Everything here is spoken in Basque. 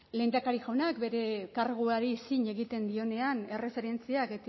lehendakari jaunak bere karguari zin egiten dionean erreferentziak